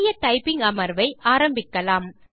புதிய டைப்பிங் அமர்வை ஆரம்பிக்கலாம்